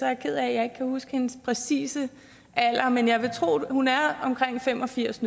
er ked af at jeg ikke kan huske hendes præcise alder men jeg vil tro hun er omkring fem og firs